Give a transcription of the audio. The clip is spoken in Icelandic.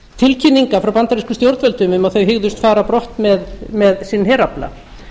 tilkynninga frá bandarískum stjórnvöldum um að þau hygðust fara á brott með sinn herafla